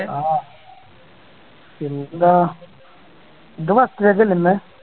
ആഹ് പിന്നെന്താ ഇത് first leg അല്ലെ ഇന്ന്